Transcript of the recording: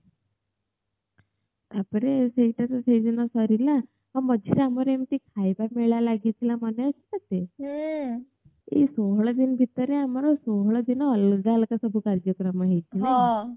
ତାପରେ ସେଇଟା ତ ସେ ଦିନ ସରିଲା ଆଉ ମଝି ରେ ଆମର ଏମିତି ଖାଇବା ମେଳା ଲାଗିଥିଲା ମନେ ଅଛି ତତେ ଏହି ଷୋହଳ ଦିନ ଭିତରେ ଆମର ଷୋହଳ ଦିନ ଅଲଗା ଅଲଗା ସବୁ କାର୍ଯ୍ୟକ୍ରମ ହେଇଛି ନାଇଁ